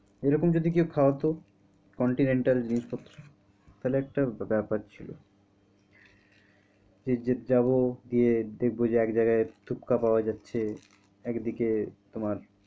এরকম যদি কেউ খাওয়াতো continental জিনিস পত্র তাহলে একটা ব্যাপার ছিল এই যে যাবো গিয়ে দেখব যে এক জায়গায় ফুচকা পাওয়া যাচ্ছে একদিকে তোমার,